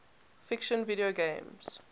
fiction video games